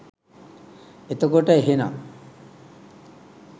එතකොට එහෙනං